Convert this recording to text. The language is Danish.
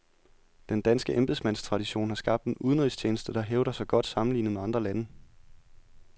Den danske embedsmandstradition har skabt en udenrigstjeneste, der hævder sig godt sammenlignet med andre lande.